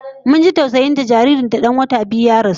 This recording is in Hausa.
Mun ji tausayin ta saboda jaririn ta dan wata biyu ya rasu